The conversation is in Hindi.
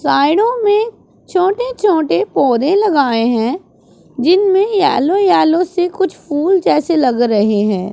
साइडों मैं छोटे छोटे पौधे लगाएं हैं जिनमें येलो येलो से कुछ फूल जैसे लग रहे हैं।